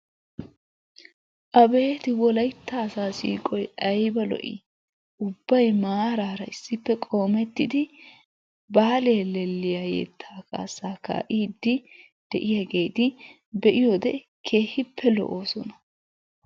Abeeti wolaytta asaa siiqqoy ayba lo"ii! Ubbay maaraara issippe qoomettidi Baalihellelliya yettaa kaassaa ka'iidi de'iyageeti be'iyode keehippe lo'oosona.